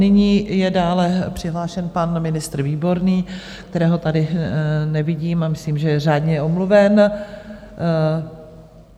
Nyní je dále přihlášen pan ministr Výborný, kterého tady nevidím a myslím, že je řádně omluven.